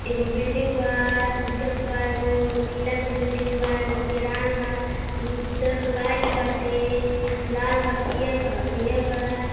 एगो बिल्डिंग बा। उज्ज क बा। एगो नीला क बिल्डिंग बा। एगो किरान बा। उज्जर क लाइट बाटे। लाल बा पियर बा हरियर बा।